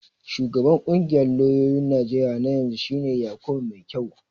Shugaban ƙungiyar lauyoyin Najeriya na yanzu shi ne Yakubu Maikyau.